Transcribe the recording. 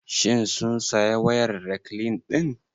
Shin sun saya wayar rekline ɗin?